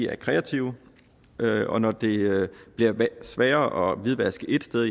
er kreative og når det bliver sværere at hvidvaske ét sted